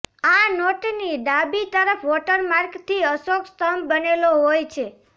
આ નોટનીડાબી તરફ વોટરમાર્ક થી અશોક સ્તંભ બનેલો હોય છે